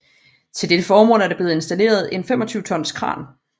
Til dette formål er der blevet installeret en 25 tons kran